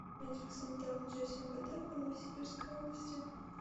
медико санитарная часть мвд по новосибирской области